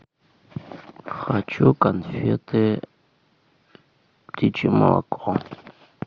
хочу конфеты птичье молоко